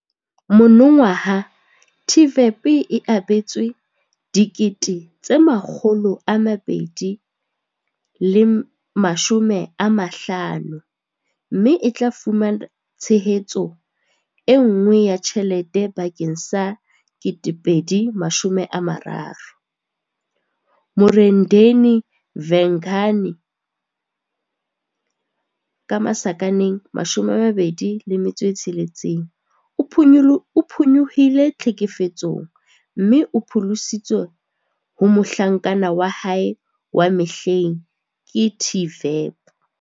Monongwaha TVEP e abetswe R250 000 mme e tla fumana tshehetso enngwe ya tjhelete bakeng sa 2023. Murendeni Vhengani, 26, o phonyohile tlhekefetsong mme o pholositswe ho mohlankana wa hae wa mehleng ke TVEP.